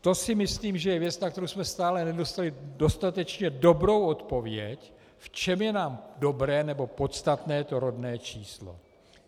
To si myslím, že je věc, na kterou jsme stále nedostali dostatečně dobrou odpověď, v čem je nám dobré nebo podstatné to rodné číslo.